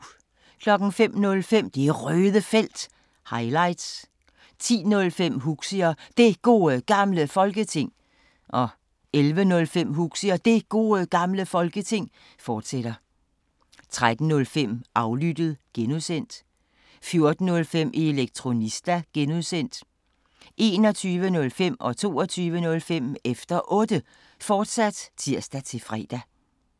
05:05: Det Røde Felt – highlights 10:05: Huxi og Det Gode Gamle Folketing 11:05: Huxi og Det Gode Gamle Folketing, fortsat 13:05: Aflyttet (G) 14:05: Elektronista (G) 21:05: Efter Otte, fortsat (tir-fre) 22:05: Efter Otte, fortsat (tir-fre)